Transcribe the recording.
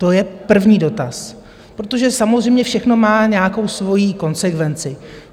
To je první dotaz, protože samozřejmě všechno má nějakou svojí konsekvenci.